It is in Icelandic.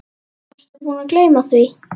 Varstu búinn að gleyma því?